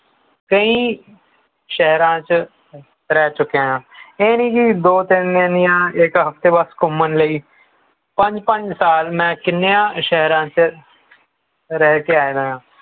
ਕਈ ਸ਼ਹਿਰਾਂ ਚ ਰਹਿ ਚੁੱਕਿਆ ਹਾਂ ਇਹ ਨਹੀਂ ਕੀ ਦੋ ਤਿੰਨ ਦਿਨ ਯਾ ਇਕ ਹਫ਼ਤੇ ਵਾਸਤੇ ਸਿਰਫ਼ ਘੁੰਮਣ ਲਈ ਪੰਜ ਪੰਜ ਸਾਲ ਮੈਂ ਕਿੰਨੀਆਂ ਸ਼ਹਿਰਾਂ ਚ ਰਹਿ ਕੇ ਆਇਆ ਹਾਂ